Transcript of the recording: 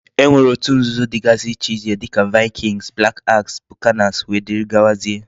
E nwere otu nzuzo digasi iche iche dika Vikings, black axe, Buccaneers wdgz.